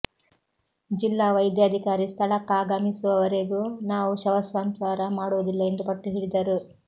ಜಿಲ್ಲಾ ವೈದ್ಯಾಧಿಕಾರಿ ಸ್ಥಳಕ್ಕಾಗಮಿಸುವವರೆಗೂ ನಾವು ಶವ ಸಂಸ್ಕಾರ ಮಾಡುವುದಿಲ್ಲ ಎಂದು ಪಟ್ಟು ಹಿಡಿದರು